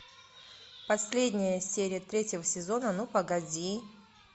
последняя серия третьего сезона ну погоди